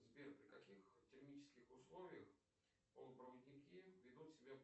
сбер при каких термических условиях полупроводники ведут себя